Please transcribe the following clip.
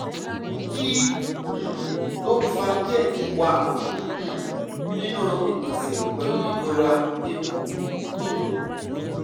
kí um ló ń fa kí ẹ̀jẹ̀ wà um nínú ìgbọ̀nsẹ̀ pẹ̀lú ìrora ikùn? um